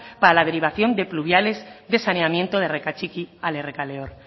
para la derivación de pluviales de saneamiento de errekatxiki al errekaleor